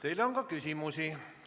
Teile on ka küsimusi.